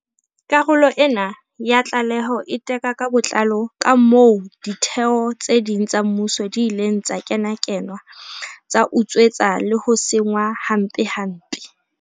Karolo ena ya tlaleho e teka ka botlalo kamoo ditheo tse ding tsa mmuso di ileng tsa kenakenwa, tsa utswetswa le ho senngwa hampempe.